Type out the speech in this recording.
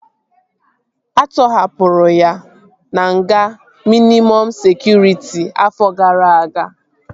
A tọhapụrụ ya na nga mịnịmọm sekụritị afọ gara aga